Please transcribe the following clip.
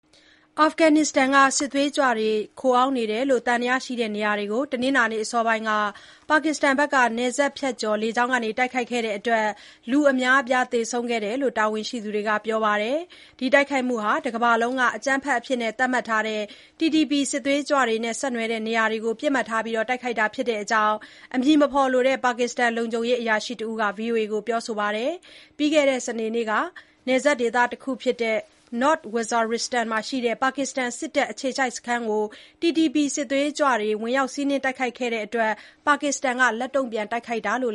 အာဖဂန်နစ္စတန်က စစ်သွေးကြွတွေခိုအောင်းနေတယ်လို့ သံသယရှိတဲ့နေရာတွေကို တနင်္လာနေ့အစောပိုင်း ပါကစ္စတန်က နယ်စပ်ဖြတ်ကျော် လေကြောင်းကတိုက်ခိုက်ခဲ့တဲ့ အတွက် လူအများအပြားသေဆုံးတယ်လို့ တာဝန်ရှိသူတွေက ပြောပါတယ်။ ဒီတိုက်ခိုက်မှုဟာ တကမ္ဘာလုံးက အကြမ်းဖက်အဖြစ်သတ်မှတ်ထားတဲ့ Tehrik-e-Taliban Pakistan (TTP) စစ်သွေးကြွတွေနဲ့ ဆက်နွယ်နေတဲ့နေရာတွေကို ပစ်မှတ်ထားတိုက်ခိုက်တာဖြစ်တဲ့အကြောင်း အမည်မဖော်လိုတဲ့ ပါကစ္စတန် လုံခြုံရေးအရာရှိတဦးက VOA ကိုပြောဆိုတာပါ။ ပြီးခဲ့တဲ့ စနေနေ့က နယ်စပ်ဒေသ North Waziristan မှာရှိတဲ့ ပါကစ္စတန်စစ်တပ်အခြေစိုက်စခန်းတခုကို TTP စစ်သွေးကြွတွေ ဝင်ရောက်စီးနင်းတိုက်ခိုက်ခဲ့တဲ့အတွက် ပါကစ္စတန်အရာရှိ ၂ ဦးအပါအဝင် တပ်ဖွဲ့ဝင် ၇ ဦးသေဆုံးခဲ့တာကို ပါကစ္စတန်က လက်တုံ့ံ့န်တိုက်ခိုက်တာလို့